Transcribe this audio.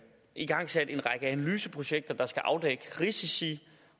igangsat en række analyseprojekter der skal afdække risici